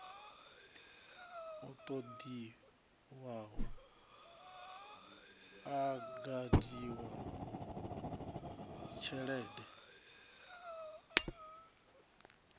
o totiwaho a gamiwa tshidele